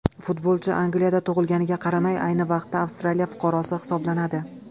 Futbolchi Angliyada tug‘ilganiga qaramay, ayni vaqtda Avstraliya fuqarosi hisoblanadi.